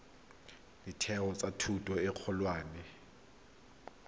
ditheo tsa thuto e kgolwane